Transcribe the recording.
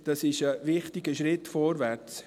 Das ist ein wichtiger Schritt vorwärts.